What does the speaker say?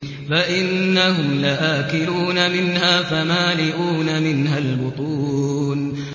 فَإِنَّهُمْ لَآكِلُونَ مِنْهَا فَمَالِئُونَ مِنْهَا الْبُطُونَ